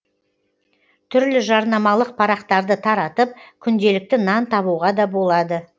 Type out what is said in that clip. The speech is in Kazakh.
түрлі жарнамалық парақтарды таратып күнделікті нан табуға да болады